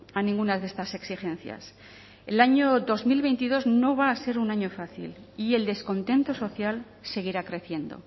a ninguna de estas exigencias el año dos mil veintidós no va a ser un año fácil y el descontento social seguirá creciendo